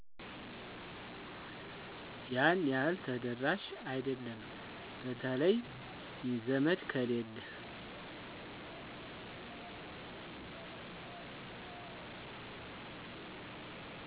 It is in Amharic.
ያን ያህል ተደራሽ አይደለም በተለይ ዘመድ ከሌለ